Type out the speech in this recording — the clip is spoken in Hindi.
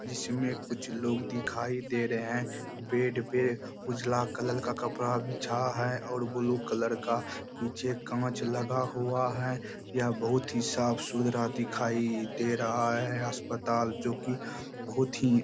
जिसमें कुछ लोग दिखाई दे रहें हैं बेड पे उजला कलर का कपड़ा बिछा है और ब्लू कलर का पीछे कांच लगा हुआ है यह बहुत ही साफ-सुथरा दिखाई दे रहा है अस्पताल जो की बहुत ही --